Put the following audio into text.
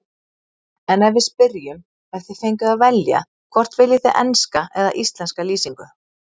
En við spyrjum, ef þið fengjuð að velja, hvort viljið þið enska eða íslenska lýsingu?